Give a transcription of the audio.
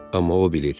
Amma o bilir.